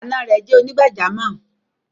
Ànà rẹ̀ jẹ́ onígbàjàmọ́.